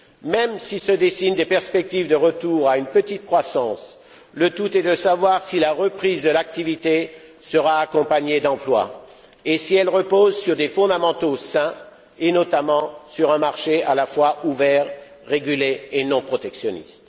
Même si se dessinent des perspectives de retour à une petite croissance, le tout est de savoir si la reprise de l'activité sera accompagnée d'emploi, et si elle repose sur des fondamentaux sains, et notamment sur un marché à la fois ouvert, régulé et non protectionniste.